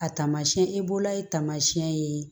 A taamasiyɛn i bolo ye taamasiyɛn ye